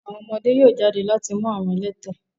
àwọn ọmọde yóò jade lọ lati mu àwọn ẹlẹtẹ